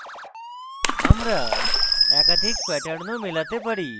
আমরা একাধিক প্যাটার্নও মেলাতে পারি